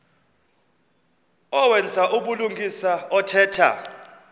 owenza ubulungisa othetha